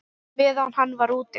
Meðan hann var úti?